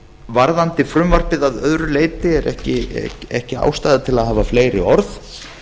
varðandi frumvarpið að öðru leyti er ekki ástæða til að hafa fleiri orð